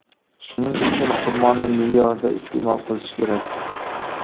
Shuning uchun xurmoni me’yorida iste’mol qilish kerak.